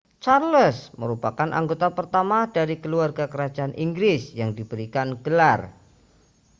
charles merupakan anggota pertama dari keluarga kerajaan inggris yang diberikan gelar